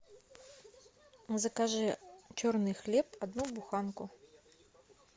закажи черный хлеб одну буханку